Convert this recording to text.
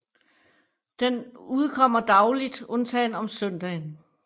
Den udkommer dagligt undtagen om søndagen